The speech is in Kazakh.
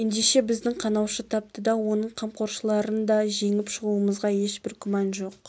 ендеше біздің қанаушы тапты да оның қамқоршыларын да жеңіп шығуымызға ешбір күмән жоқ